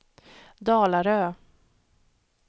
Dalarö